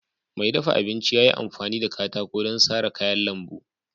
Mai dafa abinci ya yi amfani da katako don sara kayan lambu.